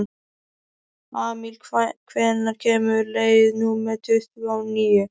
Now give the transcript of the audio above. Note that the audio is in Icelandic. Amil, hvenær kemur leið númer tuttugu og níu?